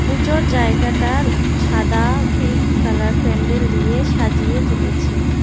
পুজোর জায়গাটা সাদা পিঙ্ক কালার প্যান্ডেল দিয়ে সাজিয়ে তুলেছে।